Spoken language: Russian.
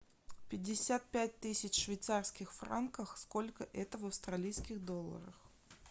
пятьдесят пять тысяч швейцарских франков сколько это в австралийских долларах